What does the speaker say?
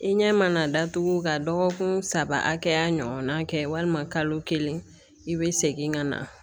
I ɲɛ mana datugu ka dɔgɔkun saba hakɛya ɲɔgɔn na kɛ walima kalo kelen i be segin ka na